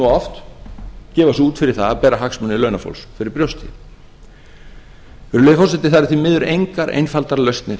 oft gefa sig út fyrir það að bera hagsmuni launafólks fyrir brjósti virðulegi forseti það eru því miður engar einfaldar lausnir